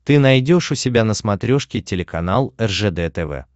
ты найдешь у себя на смотрешке телеканал ржд тв